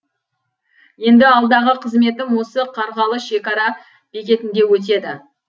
енді алдағы қызметім осы қарғалы шекара бекетінде өтеді